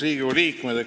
Riigikogu liikmed!